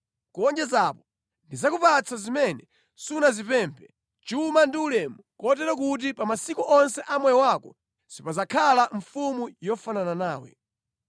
Kuwonjeza apo, ndidzakupatsa zimene sunazipemphe: chuma ndi ulemu, kotero kuti pa masiku onse a moyo wako sipadzakhala mfumu yofanana nawe.